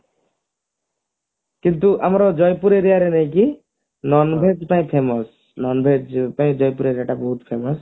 କିନ୍ତୁ ଆମର ଜୟପୁର aria ରେ ନୁହେଁ କି non veg ଟା famous non veg ପାଇଁ ଜୟପୁର aria ଟା ବହୁତ famous